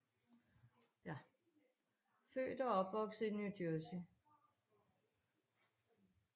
Født og opvokset i New Jercey